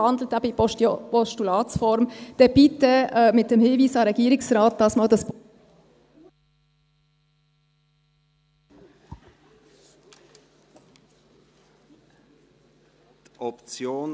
Wenn Sie in ein Postulat wandeln, dann bitte mit dem Hinweis an den Regierungsrat, diesmal das Postulat …